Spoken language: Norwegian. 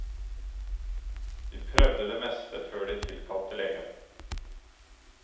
De prøvde det meste før de tilkalte legen.